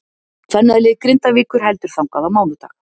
Kvennalið Grindavíkur heldur þangað á mánudag.